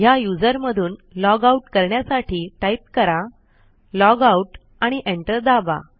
ह्या यूझर मधून लॉगआउट करण्यासाठी टाईप कराlogout आणि एंटर दाबा